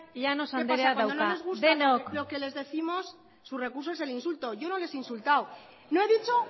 llanos andreak dauka denok qué pasa que cuando no les gusta lo que les décimos su recurso es el insulto yo no les he insultado no he dicho